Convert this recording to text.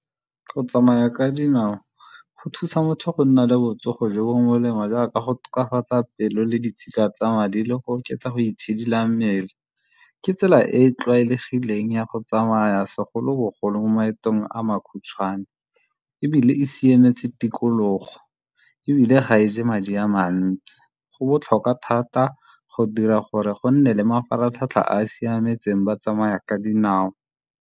Go tsamaya ka dinao go thusa motho go nna le botsogo jo bo molemo jaaka go tokafatsa pelo le ditshika tsa madi le go oketsa go itshidila mmele. Ke tsela e e tlwaelegileng ya go tsamaya segolobogolo mo maetong a makhutshwane, ebile e siametse tikologo ebile ga e je madi a le mantsi. Go botlhokwa thata go dira gore go nne le mafaratlhatlha a a siametseng ba tsamaya ka dinao.